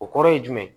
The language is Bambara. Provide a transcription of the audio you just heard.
O kɔrɔ ye jumɛn ye